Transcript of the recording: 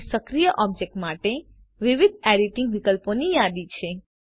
અહીં સક્રિય ઓબ્જેક્ટ માટે વિવિધ એડીટીંગ વિકલ્પોની યાદી છે